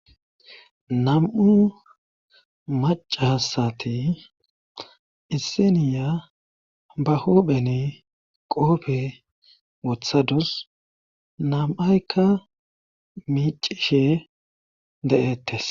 Nam'u maca hasati issiniya ba huupheni qoope wothadus nam'aykka miicishe de'ettes.